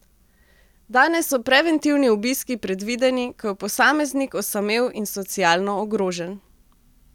Danes so preventivni obiski predvideni, ko je posameznik osamel in socialno ogrožen.